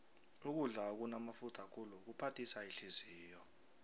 ukudla okunamafutha khulu kuphathisa ihliziyo